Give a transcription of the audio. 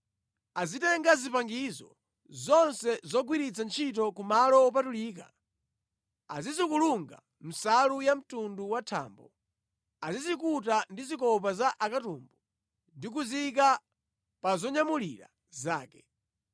“Azitenga zipangizo zonse zogwiritsira ntchito ku malo wopatulika, azizikulunga mʼnsalu ya mtundu wa thambo, azizikuta ndi zikopa za akatumbu ndi kuziyika pa zonyamulira zake.